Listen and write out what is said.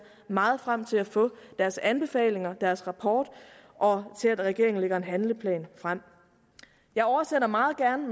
meget frem til at få deres anbefalinger deres rapport og til at regeringen lægger en handleplan frem jeg oversender meget gerne